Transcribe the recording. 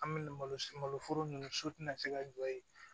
An bɛ malo foro ninnu so tɛna se ka jɔ yen